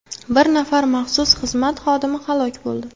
Bir nafar maxsus xizmat xodimi halok bo‘ldi.